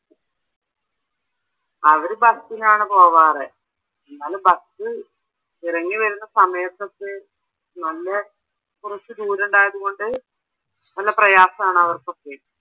അവര് bus നാണ് പോവാറ് എന്നാലും bus ഇറങ്ങി വരുന്ന സമയത്തൊക്കെ നല്ല കുറച്ച് ദൂരം ഉണ്ടായത് കൊണ്ട് നല്ല പ്രയാസമാണ് അവർക്കൊക്കെ